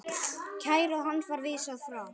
Kæru hans var vísað frá.